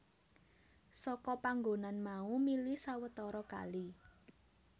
Saka panggonan mau mili sawetara kali